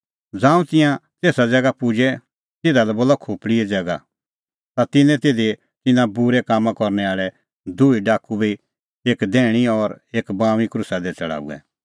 ज़ांऊं तिंयां तेसा ज़ैगा पुजै ज़िधा लै खोपल़ीए ज़ैगा बोला ता तिन्नैं तिधी तिंयां बूरै कामां करनै आल़ै दूई डाकू बी एक दैहणै और एक बाऊंऐं क्रूसा दी छ़डाऊऐ